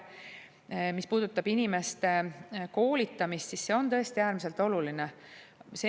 Mis puudutab inimeste koolitamist, siis see on tõesti äärmiselt oluline.